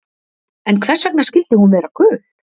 En hvers vegna skyldi hún vera gul?